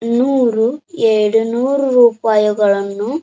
ನೂರು ಎರಡು ನೂರು ರೂಪಾಯಿಗಳನ್ನು--